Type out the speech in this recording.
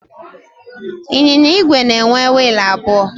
Ịnyịnya igwe na-enwe wiilụ abụọ.